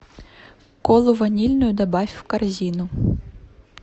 колу ванильную добавь в корзину